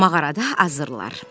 Mağarada azarlar.